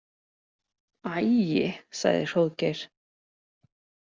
æi, sagði Hróðgeir.